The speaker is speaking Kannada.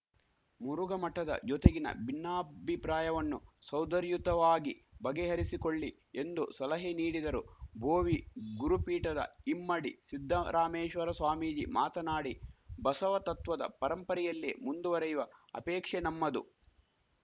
ಮುರುಘಾ ಮಠದ ಜೊತೆಗಿನ ಭಿನ್ನಾಭಿಪ್ರಾಯವನ್ನು ಸೌದರ್ಯುತವಾಗಿ ಬಗೆಹರಿಸಿಕೊಳ್ಳಿ ಎಂದು ಸಲಹೆ ನೀಡಿದರು ಭೋವಿ ಗುರುಪೀಠದ ಇಮ್ಮಡಿ ಸಿದ್ದರಾಮೇಶ್ವರ ಸ್ವಾಮೀಜಿ ಮಾತನಾಡಿ ಬಸವತತ್ವದ ಪರಂಪರೆಯಲ್ಲೇ ಮುಂದುವರಿಯುವ ಅಪೇಕ್ಷೆ ನಮ್ಮದು